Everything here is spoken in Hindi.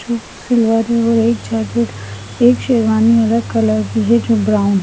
एक जाकेट एक शेरवानी अलग कलर की है जो ब्राउन --